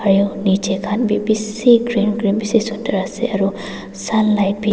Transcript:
aru nichey khan b bishi green green bishi sundur ase aro sunlight b--